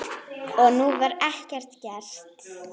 Og nú var ekkert gert.